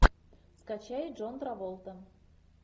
скачай джон траволта